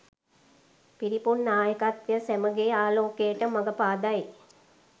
පිරිපුන් නායකත්වය සැමගේ ආලෝකයට මග පාදයි